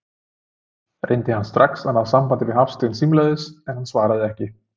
Reyndi hann strax að ná sambandi við Hafstein símleiðis, en hann svaraði ekki.